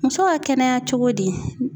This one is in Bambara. Muso ka kɛnɛya cogo di